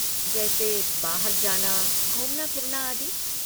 जैसे बाहर जाना, घूमना फिरना आदि।